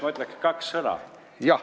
Ma ütleks kaks sõna.